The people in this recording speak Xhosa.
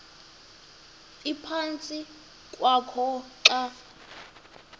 ephantsi kwakho xa